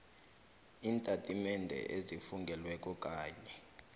iintatimende ezifungelweko kanye